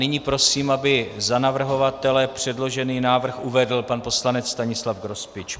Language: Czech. Nyní prosím, aby za navrhovatele předložený návrh uvedl pan poslanec Stanislav Grospič.